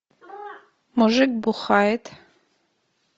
мужик бухает